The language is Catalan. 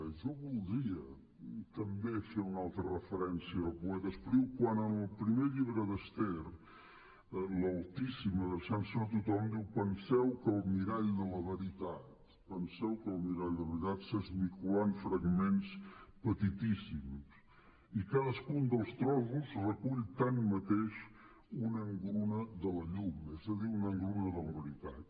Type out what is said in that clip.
jo voldria també fer una altra referència al poeta espriu quan a la primera història d’esther l’altíssim adreçant se a tothom diu penseu que el mirall de la veritat s’esmicolà en fragments petitíssims i cadascun dels trossos recull tanmateix una engruna de la llum és a dir una engruna de la veritat